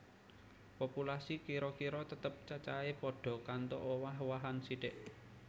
Populasi kira kira tetep cacahé padha kantho owah owahan sithik